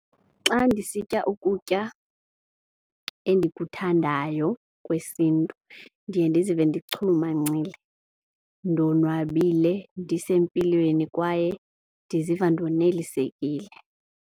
Xa ndisitya ukutya endikuthandayo kwesiNtu ndiye ndizive ndichulumancile, ndonwabile, ndisempilweni kwaye ndiziva ndonelisekile.